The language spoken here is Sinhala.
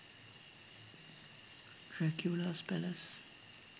draculas palace